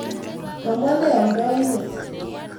Konwa ne amndaindet?